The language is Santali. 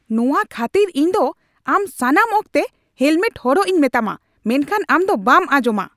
ᱱᱚᱶᱟ ᱠᱷᱟᱹᱛᱤᱨ ᱤᱧ ᱫᱚ ᱟᱢ ᱥᱟᱱᱟᱢ ᱚᱠᱛᱮ ᱦᱮᱞᱢᱮᱴ ᱦᱚᱨᱚᱜ ᱤᱧ ᱢᱮᱛᱟᱢᱟ, ᱢᱮᱱᱠᱷᱟᱱ ᱟᱢ ᱫᱚ ᱵᱟᱢ ᱟᱸᱡᱚᱢᱼᱟ ᱾